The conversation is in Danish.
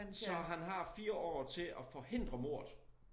Så han har 4 år til at forhindre mordet